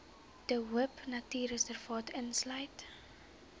de hoopnatuurreservaat insluit